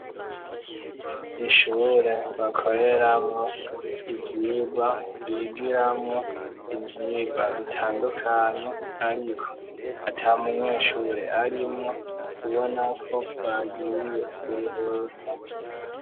Ishure bakoreramo ivyigwa. Bigiramo ivyigwa bitandukanye ariko ata munyeshure arimwo ubona ko bagiye kuruhuka.